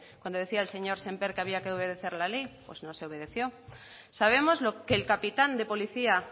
cuando decía el señor semper que había que obedecer la ley pues no se obedeció sabemos que el capitán de policía